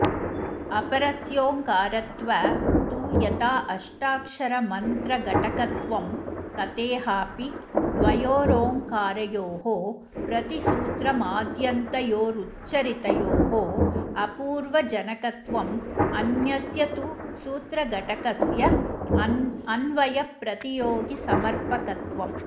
अपरस्योङ्कारत्व तु यथा अष्टाक्षरमन्त्रघटकत्वं तथेहापि द्वयोरोङ्कारयोः प्रतिसूत्रमाद्यन्तयोरुच्चरितयोः अपूर्वजनकत्वम् अन्यस्य तु सूत्रघटकस्य अन्वयप्रतियोगिसमर्पकत्वम्